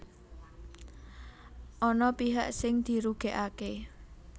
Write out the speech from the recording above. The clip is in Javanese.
Ana pihak sing dirugèkaké